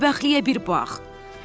Bədbəxtliyə bir bax.